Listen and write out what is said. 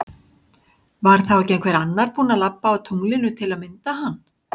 Var þá ekki einhver annar búin að labba á tunglinu til að mynda hann?